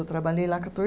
Eu trabalhei lá quator